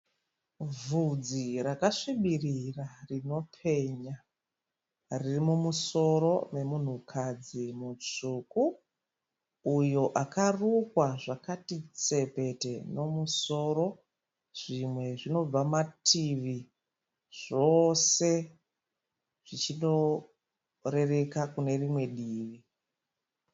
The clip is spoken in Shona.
Vhudzi rakasvibirira rinopenya. Riri mumusoro memunhukadzi mutsvuku. Uyo akarukwa zvakati tsepete nomusoro. Zvimwe zvinobva mativi zvose zvichinoreka kune rimwe divi.